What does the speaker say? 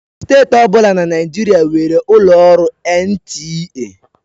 Steeti ọ bụla na Naịjirịa nwere ụlọ ọrụ NTA.